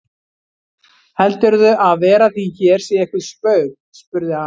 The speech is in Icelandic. Heldurðu að vera þín hér sé eitthvert spaug spurði hann.